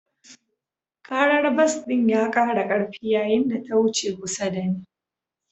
Karar bas ɗin ya kara karfi yayin da ta wuce kusa da ni.